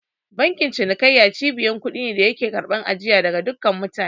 Bankin cinikayya cibiyar kuɗi ne da yake karɓar ajiya daga duka mutane.